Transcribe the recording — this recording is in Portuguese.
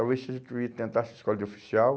Talvez você primeiro tentasse a escola de oficial.